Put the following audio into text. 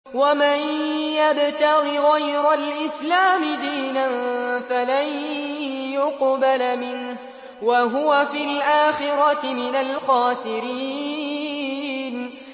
وَمَن يَبْتَغِ غَيْرَ الْإِسْلَامِ دِينًا فَلَن يُقْبَلَ مِنْهُ وَهُوَ فِي الْآخِرَةِ مِنَ الْخَاسِرِينَ